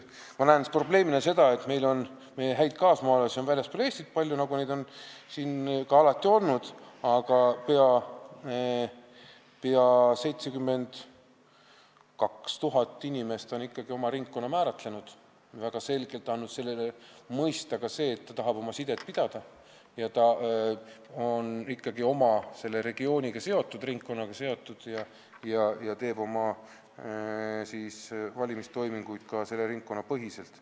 Meie häid kaasmaalasi on väljaspool Eestit palju, nagu neid on alati olnud, aga peaaegu 72 000 inimest on ikkagi oma ringkonna kindlaks määranud, andes väga selgelt sellega mõista, et nad tahavad sidet pidada, on ikkagi oma regiooniga, ringkonnaga seotud ja teevad oma valimistoiminguid ka selle ringkonna põhiselt.